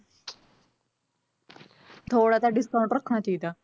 ਥੋੜ੍ਹਾ ਤਾਂ discount ਰੱਖਣਾ ਚਾਹੀਦਾ l